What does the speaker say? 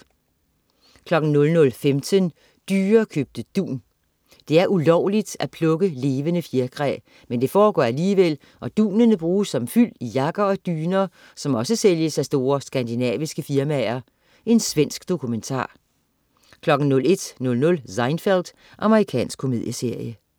00.15 Dyrekøbte dun. Det er ulovligt at plukke levende fjerkræ. Men det foregår alligevel, og dunene bruges som fyld i jakker og dyner, som også sælges af store skandinaviske firmaer. Svensk dokumentar 01.00 Seinfeld. Amerikansk komedieserie